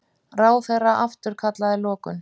Ráðherra afturkallaði lokun